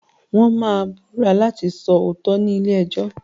Wọ́n máa Ìbúra láti sọ òótọ́ ni ilé ẹjọ́.